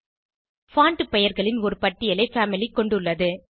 font பெயர்களின் ஒரு பட்டியலை பாமிலி கொண்டுள்ளது